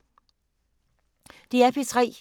DR P3